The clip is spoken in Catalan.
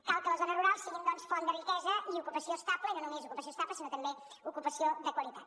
cal que les zones rurals siguin doncs font de riquesa i ocupació estable i no només ocupació estable sinó també ocupació de qualitat